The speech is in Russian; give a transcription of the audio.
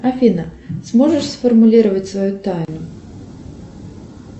афина сможешь сформулировать свою тайну